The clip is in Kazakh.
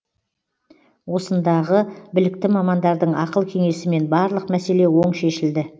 осындағы білікті мамандардың ақыл кеңесімен барлық мәселе оң шешілді